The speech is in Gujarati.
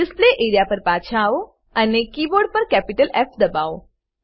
ડિસ્પ્લે એઆરઇએ પર પાછા આવો અને કીબોર્ડ પર કેપિટલ ફ દબાઓ